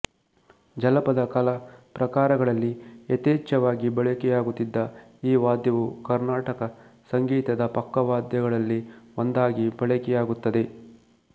ಜನಪದ ಕಲಾ ಪ್ರಕಾರಗಳಲ್ಲಿ ಯಥೇಚ್ಛವಾಗಿ ಬಳಕೆಯಾಗುತ್ತಿದ್ದ ಈ ವಾದ್ಯವು ಕರ್ನಾಟಕ ಸಂಗೀತದ ಪಕ್ಕವಾದ್ಯಗಳಲ್ಲಿ ಒಂದಾಗಿ ಬಳಕೆಯಾಗುತ್ತದೆ